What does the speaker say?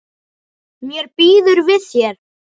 Mér býður við þér.